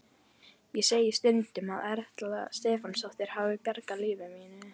Ég segi stundum að Erla Stefánsdóttir hafi bjargað lífi mínu.